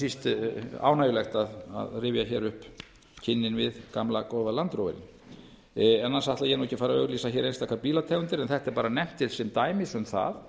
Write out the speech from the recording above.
síst ánægjulegt að rifja hér upp knúin við gamla góða land roverinn annars ætla ég nú ekki að fara að auglýsa hér einstakar bílategundir en þetta er bara nefnt hér til dæmis um það